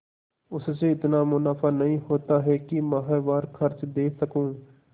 उससे इतना मुनाफा नहीं होता है कि माहवार खर्च दे सकूँ